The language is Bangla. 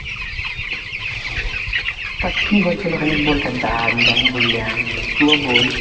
তা কি হলছিল খানিক বোল কেনতা? আমি যেমন বুললাম তু ও বোল,